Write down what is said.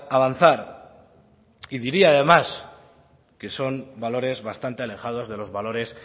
avanzar y diría además que son valores bastante alejados de los valores